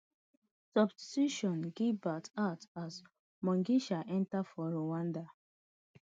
substitution gibert out as mugisha enta for rwanda